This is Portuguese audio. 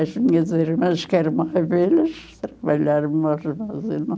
As minhas irmãs, que eram, trabalharam mais na fazenda.